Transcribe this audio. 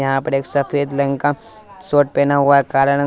यहां पर एक सफेद लहेंगा शॉर्ट पहना हुआ हैं काला रंग--